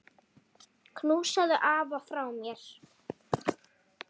Knúsaðu afa frá mér.